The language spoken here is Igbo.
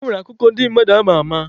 E nwere akụkọ ndị mmadụ ama ama.